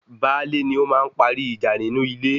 Baálé ní ó máa ń parí ìjà nínú ilé